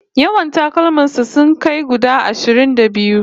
Yawan takalman sa sun kai guda ashirin da biyu